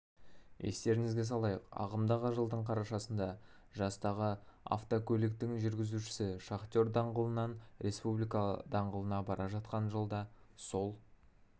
естеріңізге салайық ағымдағы жылдың қарашасында жастағы автокөлігінің жүргізушісі шахтер даңғылынан республика даңғылына бара жатқан жолда сол